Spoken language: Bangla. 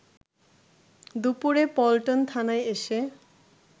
দুপুরে পল্টন থানায় এসে